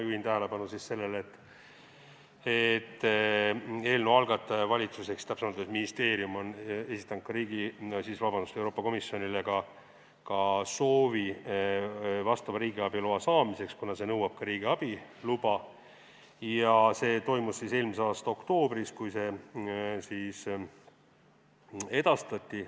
Juhin tähelepanu sellele, et eelnõu algataja, valitsus ehk täpsemalt ministeerium, on esitanud Euroopa Komisjonile soovi vastava riigiabi loa saamiseks, kuna on vaja ka riigiabi luba, ja see toimus eelmise aasta oktoobris, kui see edastati.